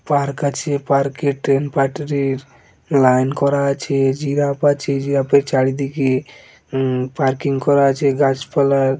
তার কাছে পার্কে টেন পার্টির লাইন করা আছে জিরাফ আছে জিরাফের চারিদিকে পার্কিং করা আছে ।